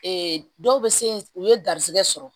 dɔw bɛ se u ye garizigɛ sɔrɔ